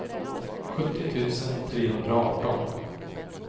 sjuttio tusen trehundraarton